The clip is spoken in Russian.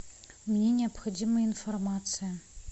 мне необходима информация